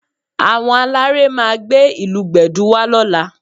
Àwọn aláré máa gbé ìlù Gbẹ̀du wá lọ́la